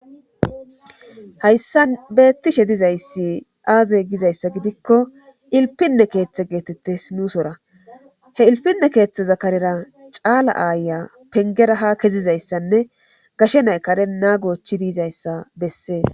Hayssa beettishe dizayssi aaze gizayssa gidikko ilpinne keeththe geetettes nuusora he ilpinne keeththe zakarera caala aaya pengera ha kezizayssanne gashe naykare naa gochi diizayssa bessees.